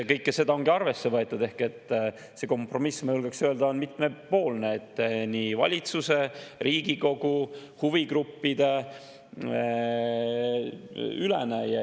Kõike seda ongi arvesse võetud ehk see kompromiss, ma julgeksin öelda, on mitmepoolne: valitsuse, Riigikogu, huvigruppide ülene.